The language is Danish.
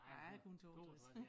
Jeg er kun 62